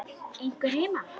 Er einhver heima?